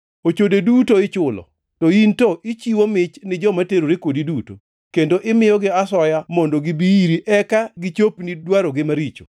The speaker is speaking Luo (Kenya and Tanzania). Ochode duto ichulo, to in to ichiwo mich ni joma terore kodi duto, kendo imiyogi asoya mondo gibi iri eka gichopni dwarogi maricho.